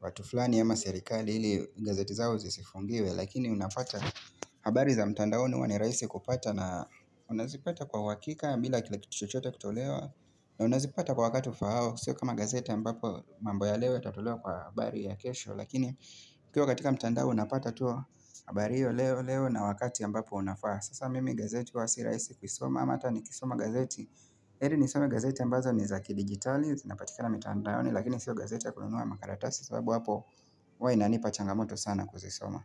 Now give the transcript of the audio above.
watu fulani ama serikali ili gazeti zao zisifungiwe Lakini unapata habari za mtandaoni huwa ni rahisi kupata na unazipata kwa uhakika bila kila kitu chochote kutolewa na unazipata kwa wakati ufahao Sio kama gazeti ambapo mambo ya leo itatolewa kwa habari ya kesho Lakini ukiwa katika mtandao unapata tuwa habari hio leo leo na wakati ambapo unafaa Sasa mimi gazeti huwa sirahisi kusoma ama ata ni kisoma gazeti heri nisome gazeti ambazo ni zaki digitali zinapatikana mitandaoni lakini sio gazeti ya kununua makaratasi sababu hapo huwa inanipa changamoto sana kuzisoma.